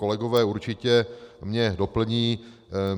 Kolegové mě určitě doplní.